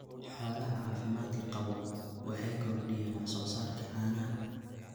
Xoolaha caafimaadka qaba waxay kordhiyaan wax soo saarka caanaha.